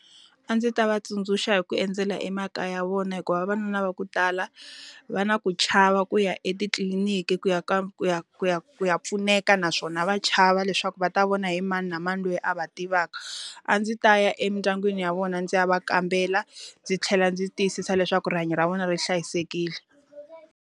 A ndzi ta va tsundzuxa hi ku endzela emakaya vona hikuva vavanuna va ku tala, va na ku chava ku ya etitliliniki ku ya ku ya ku ya ku ya pfuneka naswona va chava lava leswaku va ta vona hi mani na mani loyi a va tivaka. A ndzi ta ya emindyangwini ya vona ndzi ya va kambela, ndzi tlhela ndzi tiyisisa leswaku rihanyo ra vona ri hlayisekile.